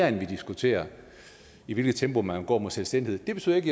end at diskutere i hvilket tempo man vil gå mod selvstændighed det betyder ikke